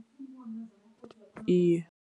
Iye.